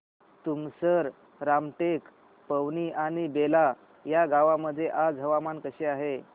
तुमसर रामटेक पवनी आणि बेला या गावांमध्ये आज हवामान कसे आहे